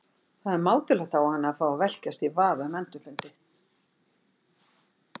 Það er mátulegt á hana að fá að velkjast í vafa um endurfundi.